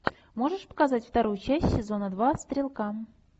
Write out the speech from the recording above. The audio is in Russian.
можешь показать вторую часть сезона два стрелка